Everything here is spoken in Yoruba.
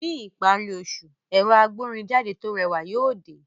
Ní ìparí oṣù, ẹ̀rọ agbórinjáde tó rẹwà yóò dé